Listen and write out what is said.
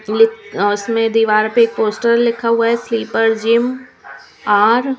उसमें दीवार पे एक पोस्टर लिखा हुआ है स्लीपर जिम आर.